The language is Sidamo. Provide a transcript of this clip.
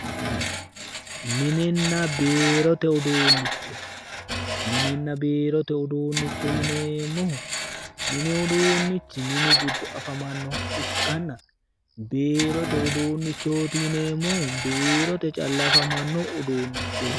Mininna biirote uduunnicho, mininna biirote uduunnicho yineemmohu mini uduunnichi mine afamannoha ikkanna, biirote uduunnichooti yineemmohu biirote calla afamanno uduunnichooti.